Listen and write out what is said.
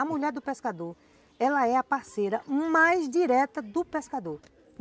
A mulher do pescador, ela é a parceira mais direta do pescador.